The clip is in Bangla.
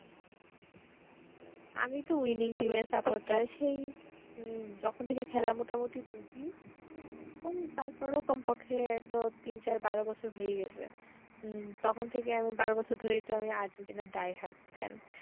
আমি তো winning team এর supporter সেই উম যখন থেকে খেলা মোটামুটি বুঝি ওই তার পরেও কম পক্ষে তো তিন চার বারো বছর হয়েই গেছে, তখন থেকে আমি বারো বছর ধরেই তো আমি আর্জেন্টিনার die hard fan